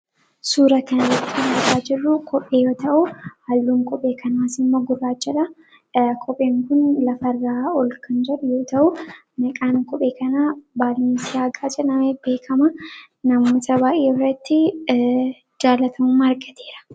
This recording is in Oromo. suura kan rakan garraa jiruu kophe yoo ta'uu halluun qophee kanaa simma gurraajala qopheen kun lafarraa ol kanjar yoo ta'uu maqaan qophee kanaa baalnisaa gaaca namee beekamaa namoota baaye irratti jaalatamuu argateera